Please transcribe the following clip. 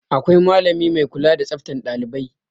Akwai malami mai kula da tsaftan ɗailibai.